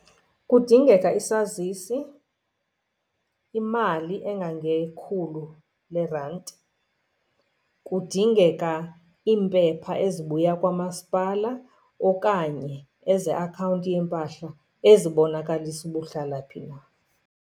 Kudingeka isazisi, imali engangekhulu leerandi. Kudingeka iimpepha ezibuya kwamasipala okanye ezeakhawunti yeempahla ezibonakalisa uba uhlala phi na.